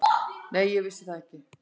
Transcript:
Nei, ég vissi það ekki.